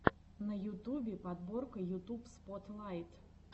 на ютубе подборка ютуб спотлайт